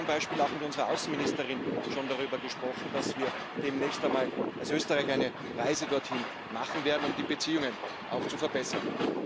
Ich habe zum Beispiel auch mit unserer Außenministerin schon darüber gesprochen, dass wir demnächst einmal als Österreicher eine Reise dorthin machen werden, um die Beziehungen zu verbessern.